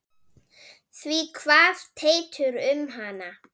Því kvað Teitur um hana